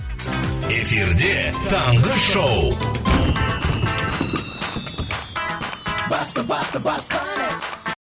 эфирде таңғы шоу басты басты бастайық